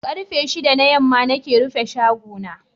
Karfe shidda na yamma nake rufe shago na.